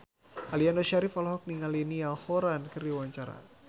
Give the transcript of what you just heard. Aliando Syarif olohok ningali Niall Horran keur diwawancara